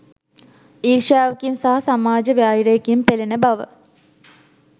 ඊර්ෂ්‍යාවකින් සහ සමාජ වෛරයකින් පෙළෙන බව